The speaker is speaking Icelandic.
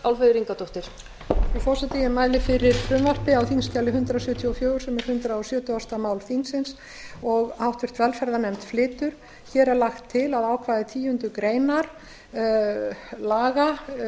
frú forseti ég mæli fyrir frumvarpi á þingskjali hundrað sjötíu og fjögur sem hundrað sjötugasta mál þingsins og háttvirtri velferðarnefnd flytur hér er lagt til að ákvæði tíundu grein laga